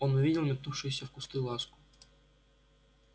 он увидел метнувшуюся в кусты ласку